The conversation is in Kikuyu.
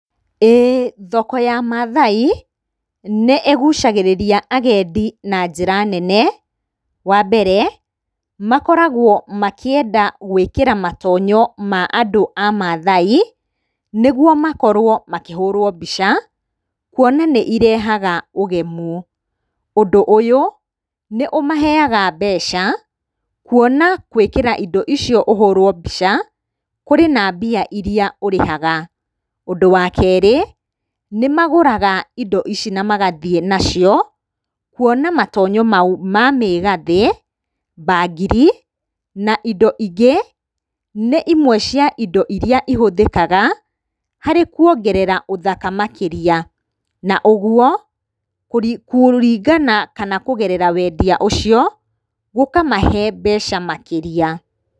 Ĩĩ thoko ya mathai nĩĩgucagĩrĩria agendi na njĩra nene, wa mbere, makoragwo makĩenda gwĩkĩra matonyo ma andũ a mathai, nĩguo makorwo makĩhũrwo mbica, kuona nĩirehaga ũgemu. Ũndũ ũyũ nĩũmaheyaga mbeca, kuona gwĩkĩra indo icio ũhũrwo mbica, kũrĩ na mbia irĩa ũrĩhaga. Ũndũ wa kerĩ, nĩmagũraga indo ici na magathiĩ nacio, kuona matonyo mau ma mĩgathĩ, mbangiri na indo ingĩ nĩ imwe cia indo irĩa ihũthĩkaga harĩ kuongerera ũthaka makĩria, na ũguo kũringana kana kũgerera wendia ũcio gũkamahe mbeca makĩria.